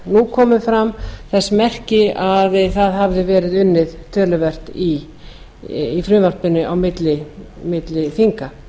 nú komu fram þess merki að það hafði verið unnið töluvert í frumvarpinu á milli þinga